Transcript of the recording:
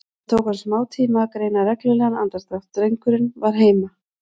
Það tók hann smátíma að greina reglulegan andardrátt, drengurinn var heima.